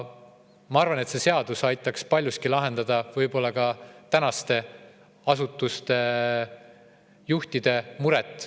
Ma arvan, et see seadus aitaks paljuski lahendada ka tänaste usuasutuste juhtide muret.